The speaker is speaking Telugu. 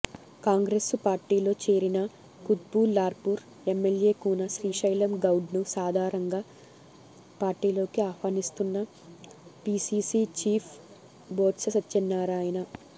కాంగ్రెసు పార్టీలో చేరిన కుత్బుల్లాపూర్ ఎమ్మెల్యే కూన శ్రీశైలం గౌడ్ను సాదరంగా పార్టీలోకి ఆహ్వానిస్తున్న పిసిసి చీఫ్ బొత్స సత్యనారాయణ